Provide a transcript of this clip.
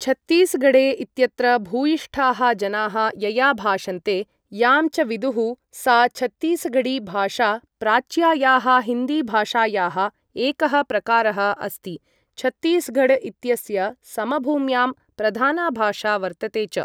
छत्तीसगढ़े इत्यत्र भूयिष्ठाः जनाः यया भाषन्ते, यां च विदुः सा छत्तीसगढ़ी भाषा प्राच्यायाः हिन्दी भाषायाः एकः प्रकारः अस्ति, छत्तीसगढ़ इत्यस्य समभूम्यां प्रधाना भाषा वर्तते च।